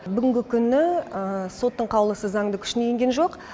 бүгінгі күні соттың қаулысы заңды күшіне енген жоқ